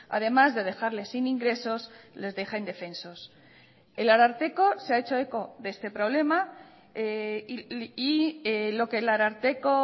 además de dejarles sin ingresos les deja indefensos el ararteko se ha hecho eco de este problema y lo que el ararteko